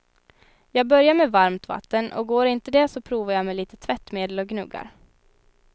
Jag börjar med varmt vatten och går inte det så provar jag med lite tvättmedel och gnuggar.